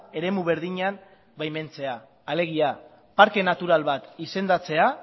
eremu berdinean baimentzea alegia parke natural bat izendatzea